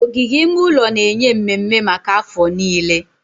Ogige ime ụlọ na-enye mmemme maka afọ niile.